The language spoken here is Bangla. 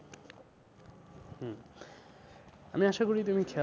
আমি আশা করি তুমি